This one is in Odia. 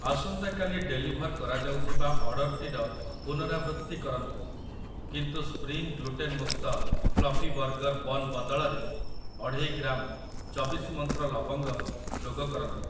ଆସନ୍ତା କାଲି ଡେଲିଭର୍ କରାଯାଉଥିବା ଅର୍ଡ଼ର୍‌‌ଟିର ପୁନରାବୃତ୍ତି କରନ୍ତୁ, କିନ୍ତୁ ସ୍ପ୍ରିଙ୍ଗ୍ ଗ୍ଲୁଟେନ୍ ମୁକ୍ତ ଫ୍ଲଫି ବର୍ଗର୍ ବନ୍ ବଦଳରେ ଅଢେଇ ଗ୍ରାମ ଚବିଶି ମନ୍ତ୍ର ଲବଙ୍ଗ ଯୋଗକରନ୍ତୁ ।